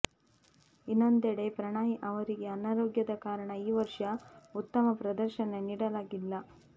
ಇನ್ನೊಂದೆಡೆ ಪ್ರಣಯ್ ಅವರಿಗೆ ಆನಾರೋಗ್ಯದ ಕಾರಣ ಈ ವರ್ಷ ಉತ್ತಮ ಪ್ರದರ್ಶನ ನೀಡಲಾಗಿಲ್ಲ